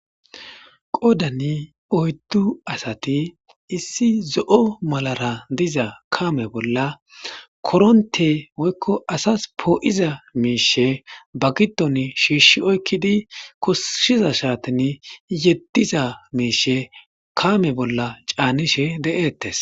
Qodani oyddu asati issi zo7o malara diza kame bolla koronte woykko asas poo7iza miishe ba gidon shiishi oykkidi koshiza shaatin yeddiza miishe kame bolla caanishe de7eettes